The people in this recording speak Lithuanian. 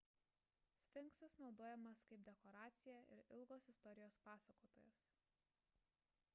sfinksas naudojamas kaip dekoracija ir ilgos istorijos pasakotojas